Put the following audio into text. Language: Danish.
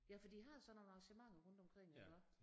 Ja for de har sådan nogle arrangementer rundt omkring iggå